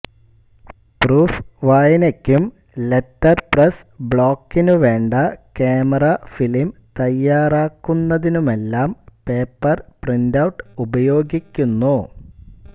proof വായനക്കും letterpress ബ്ളോക്കിനുവേണ്ട camera film തയ്യാറാക്കുന്നതിനുമെല്ലാം പേപ്പർ പ്രിന്റൌട്ട് ഉപയോഗിക്കുന്നു